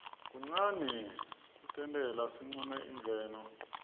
kunqani kutnele siqune imvelo